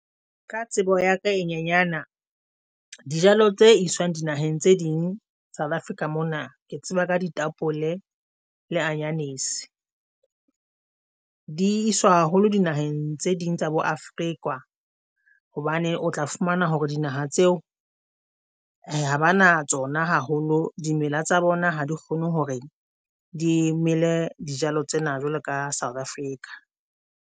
Ka tsebo ya ka e nyanyana dijalo tse iswang di naheng tse ding South Africa mona ke tseba ka ditapole le anyanisi. Di iswa haholo dinaheng tse ding tsa bo Afrika hobane o tla fumana hore dinaha tseo ha ba na tsona haholo. Dimela tsa bona ha di kgone hore dimele dijalo tsena jwalo ka South Africa.